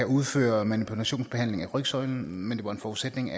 udføre manipulationsbehandling af rygsøjlen men det var en forudsætning